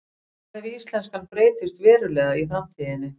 Hvað ef íslenskan breytist verulega í framtíðinni?